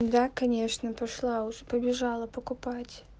да конечно пошла уже побежала покупать